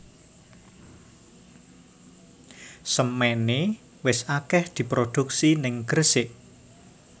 Semene wis akeh diproduksi ning Gresik